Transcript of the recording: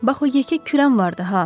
Bax o yekə kürəm vardı ha.